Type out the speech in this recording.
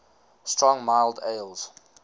strong mild ales